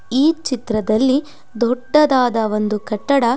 ಈ ಚಿತ್ರದಲ್ಲಿ ದೊಡ್ಡದಾದ ಒಂದು ಕಟ್ಟಡ --